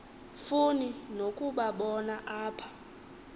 funi nokubabona apha